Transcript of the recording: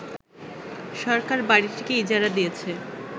সরকার বাড়িটিকে ইজারা দিয়েছে